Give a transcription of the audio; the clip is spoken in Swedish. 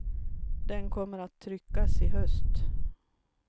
Den kommer att tryckas i höst.